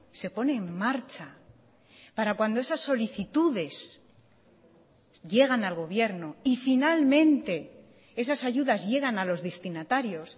se pone en marcha para cuando esas solicitudes llegan al gobierno y finalmente esas ayudas llegan a los destinatarios